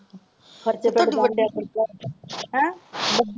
ਖ਼ਰਚੇ ਤੋਂ ਖ਼ਰਚਾ ਹੇ।